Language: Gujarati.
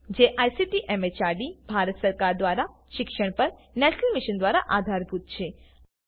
જેને આઈસીટી એમએચઆરડી ભારત સરકાર મારફતે શિક્ષણ પર નેશનલ મિશન દ્વારા આધાર અપાયેલ છે